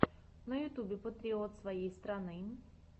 на ютюбе патриот своей страны